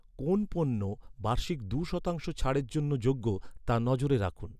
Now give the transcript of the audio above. কোন পণ্য বার্ষিক দু’শতাংশ ছাড়ের জন্য যোগ্য, তা নজরে রাখুন।